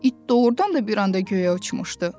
İt doğurdan da bir anda göyə uçmuşdu.